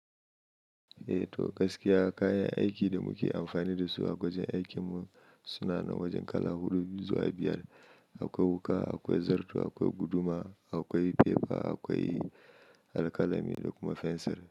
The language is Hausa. Eh to gaskiya kayan aikin da muke amfani dasu a wajen aikinmu suna nan wajen kala huɗu zuwa biyar. Akwai wuƙa, akwai zarto, akwai guduma, akwai fefa, akwai alƙalami da kuma fensir.